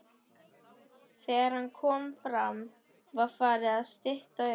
Þegar hann kom fram var farið að stytta upp.